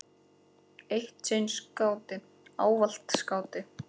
Eitt sinn skáti, ávallt skáti.